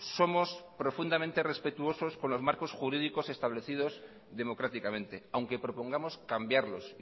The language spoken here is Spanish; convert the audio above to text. somos profundamente respetuosos con los marcos jurídicos establecidos democráticamente aunque propongamos cambiarlos